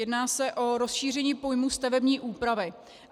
Jedná se o rozšíření pojmu "stavební úpravy".